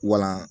Wala